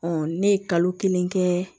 ne ye kalo kelen kɛ